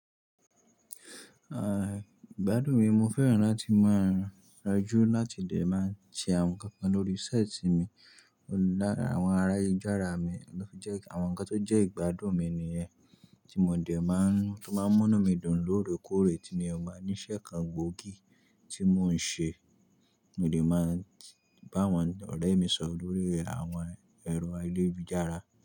Ah, ìgbádùn mi mo fẹ́ràn láti máa rejú láti dẹ̀ máa ṣe àwọn nǹkan kan lórí ṣẹ́ẹ̀tì mi. Lára àwọn ará ayélujara mi lọ jẹ́ àwọn nǹkan tó jẹ́ ìgbádùn mi nìyẹn tí mo dẹ̀ máa ń to máa ń múnú mi dùn lóore kóòré tí mi ọ bá ní iṣẹ́ kan gbòógì tí mò ń ṣe, mo dẹ̀ máa n bá àwọn ọ̀rẹ́ mi sọ̀rọ̀ lórí àwọn ẹro ayélujara.